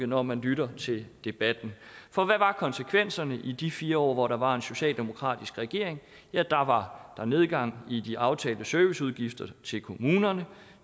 når man lytter til debatten for hvad var konsekvenserne i de fire år hvor der var en socialdemokratisk regering ja der var der nedgang i de aftalte serviceudgifter til kommunerne